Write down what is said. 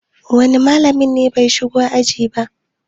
wane malamin ne bai shigo aji ba?